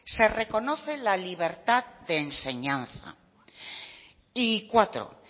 se reconoce la libertad de enseñanza y cuatro